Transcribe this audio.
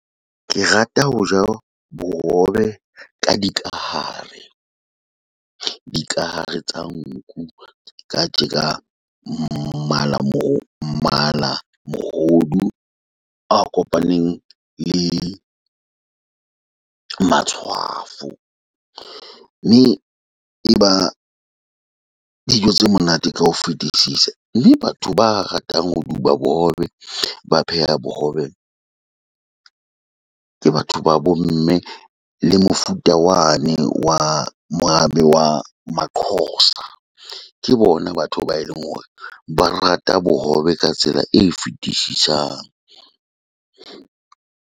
Ke rata ho ja bohobe ka di kahare. Dikahare tsa nku ja tjeka mmala moo mala mohodu a kopaneng le matshwafo, mme e ba dijo tse monate ka ho fetisisa. Le batho ba ratang ho duba bohobe ba pheha bohobe ke batho ba bo mme. Le mofuta wane wa morabe wa ma-Xhosa. Ke bona batho ba eleng hore ba rata bohobe ka tsela e fetisisang.